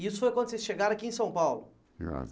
E isso foi quando vocês chegaram aqui em São Paulo?